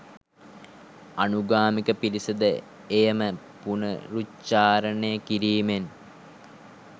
අනුගාමික පිරිස ද එය ම පුනරුච්චාරණය කිරීමෙන්